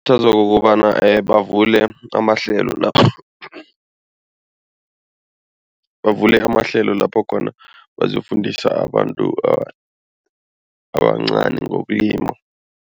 ngokobana bavule amahlelo , bavule amahlelo lapho khona bazokufundisa abantu abancani ngokulima.